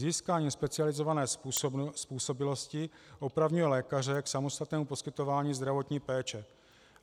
Získání specializované způsobilosti opravňuje lékaře k samostatnému poskytování zdravotní péče.